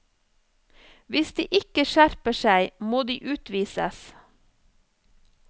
Hvis de ikke skjerper seg, må de utvises.